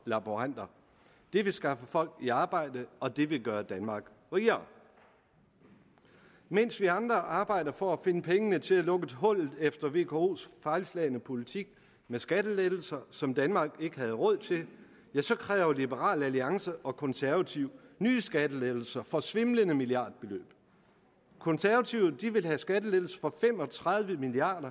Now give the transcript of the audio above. laboranter det vil skaffe folk i arbejde og det vil gøre danmark rigere mens vi andre arbejder for at finde pengene til at lukke hullet efter vkos fejlslagne politik med skattelettelser som danmark ikke havde råd til så kræver liberal alliance og konservative nye skattelettelser for svimlende milliardbeløb konservative vil have skattelettelser for fem og tredive milliard